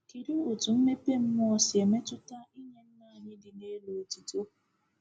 Kedu otu mmepe mmụọ si metụta ịnye Nna anyị dị n’elu otuto?